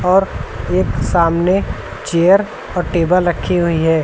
और एक सामने चेयर और टेबल रखी हुई है।